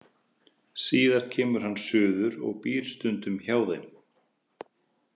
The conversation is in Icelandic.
Síðar kemur hann suður og býr stundum hjá þeim.